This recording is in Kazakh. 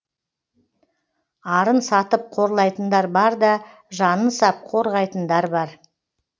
арын сатып қорлайтындар бар да жанын сап қорғайтындар бар